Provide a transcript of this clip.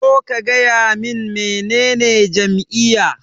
Zo ka gaya min menene jam'iyya.